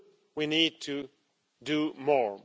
We need to do more.